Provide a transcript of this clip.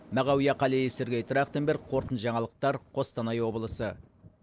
мағауия қалиев сергей трахтенберг қорытынды жаңалықтар қостанай облысы